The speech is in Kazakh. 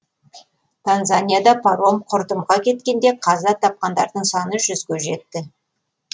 танзанияда паром құрдымға кеткенде қаза тапқандардың саны жүзге жетті